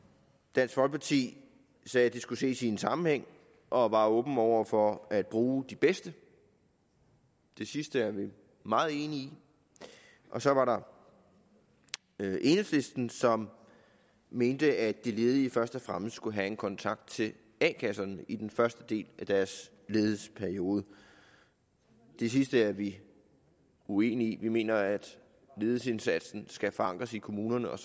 dansk folkeparti sagde at det skulle ses i sammenhæng og var åben over for at bruge de bedste det sidste er vi meget enige i og så var der enhedslisten som mente at de ledige først og fremmest skulle have kontakt til a kasserne i den første del af deres ledighedsperiode det sidste er vi uenige i vi mener at ledighedsindsatsen skal forankres i kommunerne og